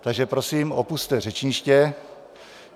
Takže prosím, opusťte řečniště.